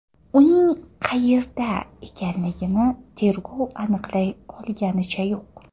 Uning qayerda ekanligini tergov aniqlay olganicha yo‘q.